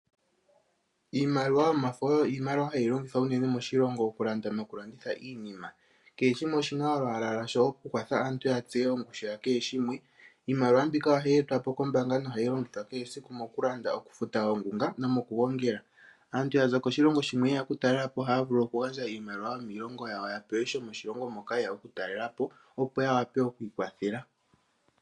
Iimaliwa yomafo oyo iimaliwa hayi longithwa unene moshilongo oku landa nokulanditha iinima. Kehe shimwe oshina olwaala lwasho oku kwatha aantu ya tseye ongushu ya kehe shimwe. Iimaliwa mbika ohayi etwapo kombaanga nohayi longithwa kehe esiku mokulanda, okufuta oongunga nomokugongela. Aantu ya za koshilongo shimwe yeya okutalelapo ohaya vulu oku gandja iimaliwa yomiilongo yawo ya pewe shomoshilongo moka yeya oku talelapo, opo ya wape oku ikwathela.